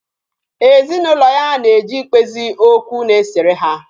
Ezinụlọ ya na-eje ikpezi okwu na-esere ha